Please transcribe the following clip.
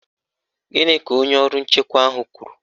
Gịnị ka onye ọrụ nchekwa ahụ kwuru?